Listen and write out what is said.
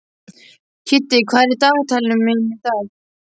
Kiddi, hvað er í dagatalinu í dag?